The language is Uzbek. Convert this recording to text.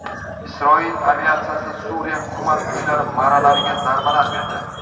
Isroil aviatsiyasi Suriya hukumat kuchlari marralariga zarbalar berdi.